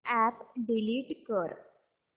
app delete कर